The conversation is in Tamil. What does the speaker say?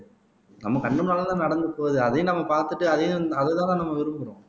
நம்ம கண்ணு முன்னாலதானே நடந்து போகுது அதையும் நம்ம பார்த்துட்டு அதையும் அதைத்தானே நம்ம விரும்புறோம்